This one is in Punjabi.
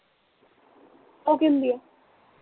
ਉਹ ਕੀ ਹੁੰਦੀ ਆ